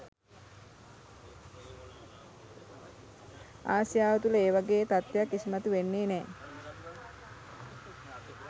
ආසියාව තුළ ඒ වගේ තත්ත්වයක් ඉස්මතු වෙන්නෙ නෑ.